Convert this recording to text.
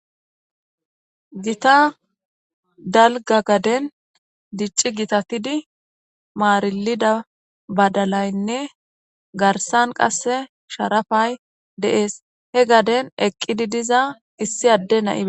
gita dalga gaden dicci gitatidi maarilida badalaynne garsan qasse sharafay deees he gaden eqqidi diza issi adde nai